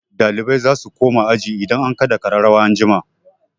Ɗalibai za su koma aji idan an kaɗa ƙararrawa an jima.